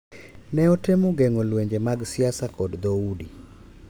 Ne otemo geng’o lwenje mag siasa kod dhoudi